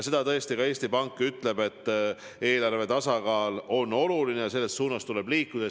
Seda tõesti ka Eesti Pank ütleb, et eelarve tasakaal on oluline ja selles suunas tuleb liikuda.